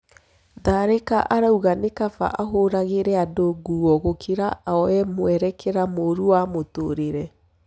Tharĩ ka arauga nĩ kaba ahũragĩ re andũ nguo gũkĩ ra kuoya mũerekera mũru wa mũtũrĩ re.